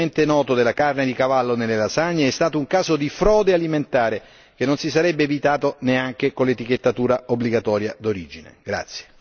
Il caso tristemente noto della carne di cavallo nelle lasagne è stato un caso di frode alimentare che non si sarebbe evitato neanche con l'etichettatura obbligatoria d'origine.